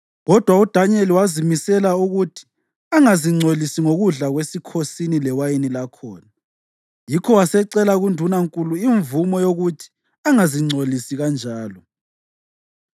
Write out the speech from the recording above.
Kodwa uDanyeli wazimisela ukuthi angazingcolisi ngokudla kwesikhosini lewayini lakhona, yikho wasecela kundunankulu imvumo yokuthi angazingcolisi kanjalo.